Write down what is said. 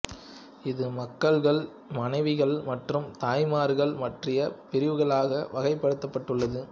இது மகள்கள் மனைவிகள் மற்றும் தாய்மார்கள் பற்றிய பிரிவுகளாக வகைப்படுத்தப்பட்டுள்ளது